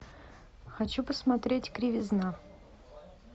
хочу посмотреть кривизна